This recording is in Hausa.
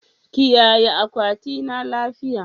Kiyaye akwatina lafiya